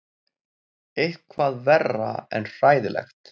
Eitthvað verra en hræðilegt.